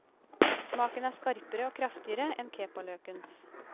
Smaken er skarpere og kraftigere enn kepaløkens.